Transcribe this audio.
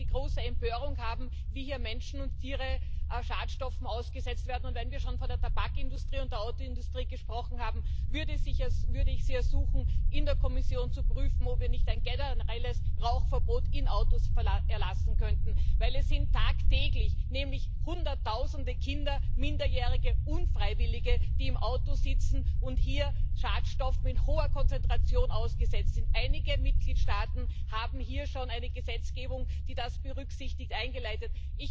Wenn wir heute die große Empörung haben, wie hier Menschen und Tiere Schadstoffen ausgesetzt werden, und wenn wir schon von der Tabakindustrie und Autoindustrie gesprochen haben, würde ich Sie ersuchen, in der Kommission zu prüfen, ob wir nicht ein generelles Rauchverbot in Autos erlassen könnten, denn es sind tagtäglich Hunderttausende Kinder, Minderjährige, Unfreiwillige, die im Auto sitzen und hier Schadstoffen in hoher Konzentration ausgesetzt sind. Einige Mitgliedstaaten haben hier schon eine Gesetzgebung, die das berücksichtigt, eingeleitet.